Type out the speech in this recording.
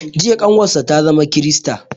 Jiya ƙanwar sa ta zama krista